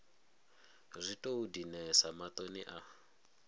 zwi tou dinesa maṱoni a